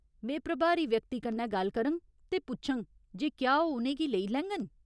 में प्रभारी व्यक्ति कन्नै गल्ल करङ ते पुच्छङ जे क्या ओह् उ'नें गी लेई लैङन।